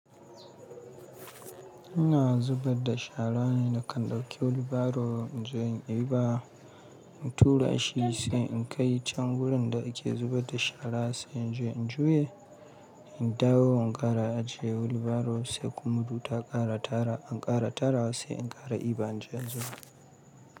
Ina zubar da sharane na kan dauki wheel barrow, inje in diba, in tura shi sai in kai chan gurin da ake zubar da shara sai inji in juya, in dawo in ƙara ajiye wheel barrow sai kuma inta ƙara tara, an ƙara tara sai in ƙara diba inje in zuba.